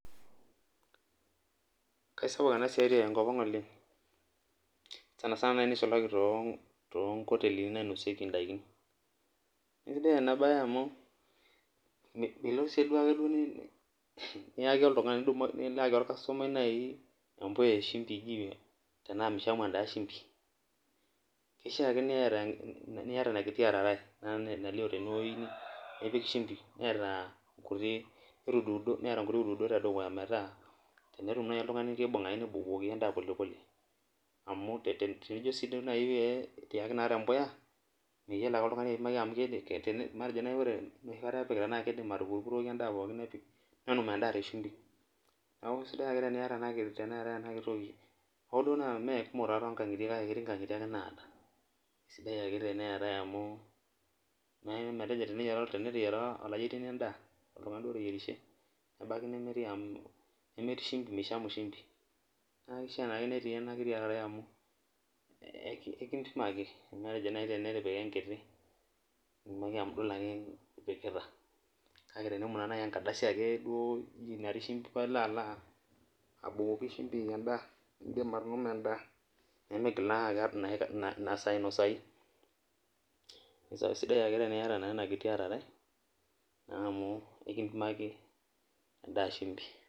Keisapuk ena siai tenkop ang oleng, sanisana neisulaki naaji toonkotelini nainosieki endaikin, isidan ena siai amu milo sii najiake nilo ayaki orkastomai empuya eshimpi tenaa eji mishamu endaa shumpi ,keisahaake niyata Iona kiti ararai nalio teneweji nipik shumpi neta nkuti uduudot tedukuya metaa tenetum naaji oltungani nebukokini endaa polepole, amu tinijo sii naaji pee iyaki tempuya, meyiolo eke oltungani apimaki amu matejo naaji ore enoshi kata epikitae naa keidim atupuropuroki endaa pookin nenum enda teshumpi. neeku sidai ake teneeta ena kiti toki hoo duo naa meekumok tonkangitie kake ketii nkangitie naata ,sidai ake teneetae amu teneteyiara oltungani enda duo oteyierushe nebaiki nemetii shumpi meishamu shumpi, naa keishaa naake netii ena kiti ararai amu ekimpimaki matejo naaji enkiti nitumoki amu idol ake ipikita kake tenemoyu naji aa enkardasi ake natii shumpi paa ilo alo abukoki shumpi endaa indim atunuma endaa nemeigilaa naa inasaa ainosayu, sidai ake teniyata naa ena kiti ararai naa amu ekimpimaki endaa shumpi.